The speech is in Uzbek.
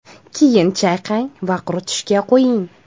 Keyin chayqang va quritishga qo‘ying.